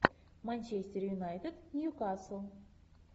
манчестер юнайтед ньюкасл